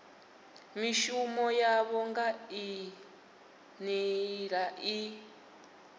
mishumo yavho nga nḓila i